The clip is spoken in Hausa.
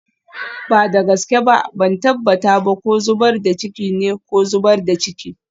Ba da gaske ba, ban tabbata ba ko zubar da ciki ne ko zubar da ciki.